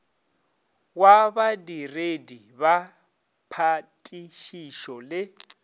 wa badiredi ba phatišišo le